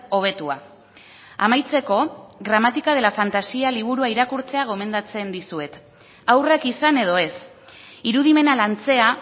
hobetua amaitzeko gramática de la fantasía liburua irakurtzea gomendatzen dizuet haurrak izan edo ez irudimena lantzea